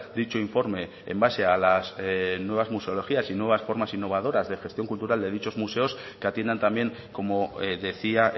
dicho informe en base a las nuevas museologías y nuevas formas innovadoras de gestión cultural de dichos museos que atiendan también como decía